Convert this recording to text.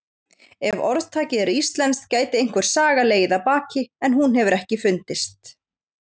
Ef orðtakið er íslenskt gæti einhver saga legið að baki en hún hefur ekki fundist.